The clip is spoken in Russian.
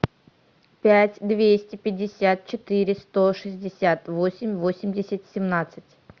пять двести пятьдесят четыре сто шестьдесят восемь восемьдесят семнадцать